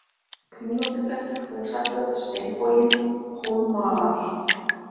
Kringlóttiblettur, Húsaflöt, Steinboginn, Hólmaar